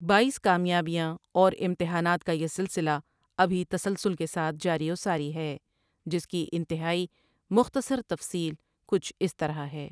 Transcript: بایس کامیابیاں اور امتحانات کا یہ سلسلہ ابھی تسلسل کے ساتھ جاری وساری ہے جس کی انتہائی مختصر تفصیل کچھ اس طرح ہے ۔